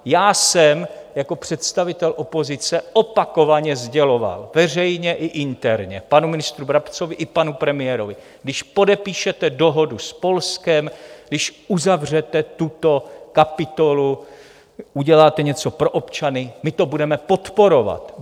Já jsem jako představitel opozice opakovaně sděloval veřejně i interně panu ministru Brabcovi i panu premiérovi, když podepíšete dohodu s Polskem, když uzavřete tuto kapitolu, uděláte něco pro občany, my to budeme podporovat.